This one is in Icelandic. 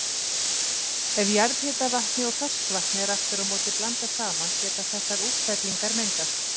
Ef jarðhitavatni og ferskvatni er aftur á móti blandað saman geta þessar útfellingar myndast.